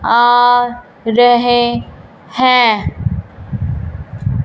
आ रहे हैं।